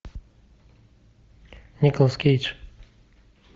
николас кейдж